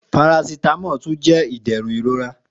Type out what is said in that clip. Paracetamol tun jẹ iderun irora